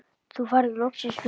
Þú færð loksins frí.